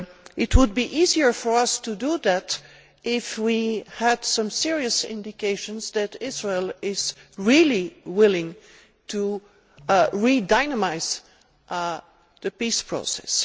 It would be easier for us to do that if we had some serious indications that Israel is really willing to breathe new life into the peace process.